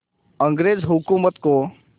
अंग्रेज़ हुकूमत को